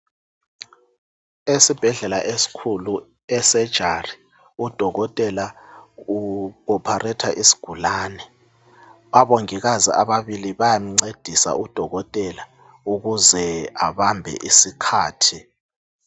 Esibhedlela esikhulu, esejari udokotela u-opharetha isigulani abongikazi ababili bayamcedisa udokotela ukuze abambe isikhathi.